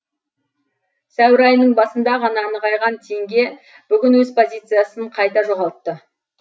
сәуір айының басында ғана нығайған теңге бүгін өз позициясын қайта жоғалтты